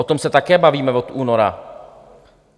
O tom se také bavíme od února.